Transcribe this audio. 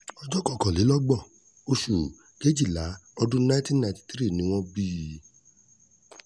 ọjọ́ kọkànlélọ́gbọ̀n oṣù kejìlá ọdún nineteen ninety three ni wọ́n bí i